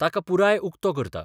ताका पुराय उक्तो करता.